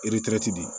di